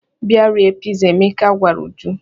"Bịa rie piza," Emeka gwara Uju.